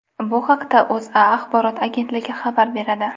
Bu haqda O‘zA axborot agentligi xabar beradi.